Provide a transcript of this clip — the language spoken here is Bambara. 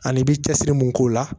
Ani i bɛ cɛsiri mun k'o la